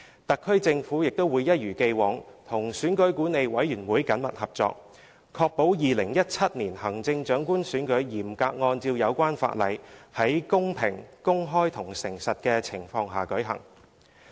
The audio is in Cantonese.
特區政府會一如既往，與選舉管理委員會緊密合作，確保2017年行政長官選舉嚴格按照有關法例，在公平、公開及誠實的情況下舉行。